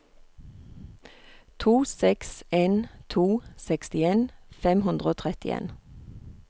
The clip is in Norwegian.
to seks en to sekstien fem hundre og trettien